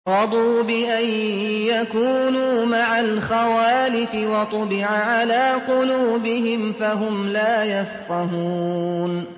رَضُوا بِأَن يَكُونُوا مَعَ الْخَوَالِفِ وَطُبِعَ عَلَىٰ قُلُوبِهِمْ فَهُمْ لَا يَفْقَهُونَ